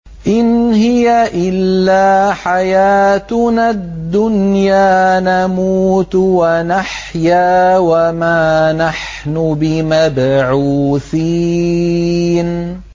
إِنْ هِيَ إِلَّا حَيَاتُنَا الدُّنْيَا نَمُوتُ وَنَحْيَا وَمَا نَحْنُ بِمَبْعُوثِينَ